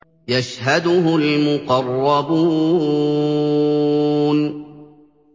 يَشْهَدُهُ الْمُقَرَّبُونَ